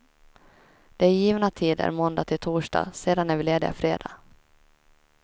Det är givna tider måndag till torsdag, sedan är vi lediga fredag.